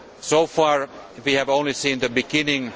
So far, we have only seen the beginning.